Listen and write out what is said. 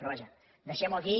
però vaja deixem ho aquí